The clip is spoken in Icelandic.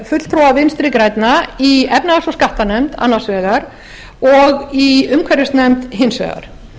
fulltrúa vinstri grænna í efnahags og skattanefnd annars vegar og í umhverfisnefnd hins vegar